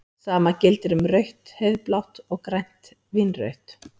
Sama gildir um rautt-heiðblátt og grænt-vínrautt.